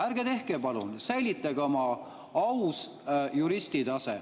Ärge tehke palun, säilitage oma aus juristi tase.